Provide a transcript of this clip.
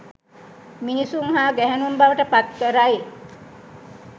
මිනිසුන් හා ගැහැණුන් බවට පත් කරයි.